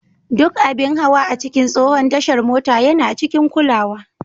Duk abin hawa a cikin tsohon tashar mota yana cikin kulawa.